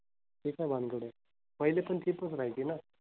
ते काय भानगड आहे? पहिली पण chip च राहायची ना?